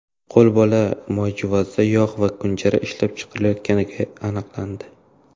qo‘lbola moyjuvozda yog‘ va kunjara ishlab chiqarayotgani aniqlandi.